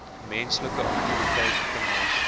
menslike aktiwiteite temas